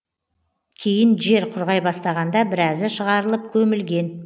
кейін жер құрғай бастағанда біразы шығарылып көмілген